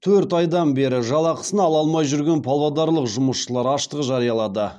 төрт айдан бері жалақысын ала алмай жүрген павлодарлық жұмысшылар аштық жариялады